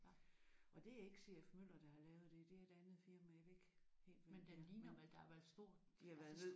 Og det er ikke C F Møller der har lavet det det er et andet firma jeg kan ikke helt hvem det er